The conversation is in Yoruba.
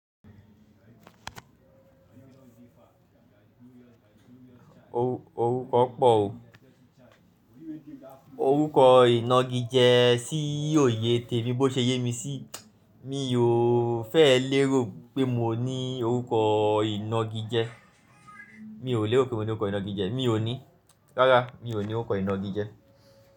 Orúkọ pọ̀ o. Orúkọ inági jẹ sí òye tèmi, bó ṣe yé mi sí, mi ò fẹ́ lérò pé mo ní orúkọ inági jẹ. Mi ò lérò pé mo ní orúkọ inági jẹ. Mi ò ní. Rárá, mi ò ní orúkọ inági jẹ.